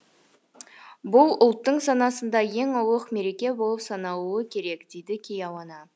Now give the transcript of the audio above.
бұл ұлттың санасында ең ұлық мереке болып саналуы керек дейді кеяуана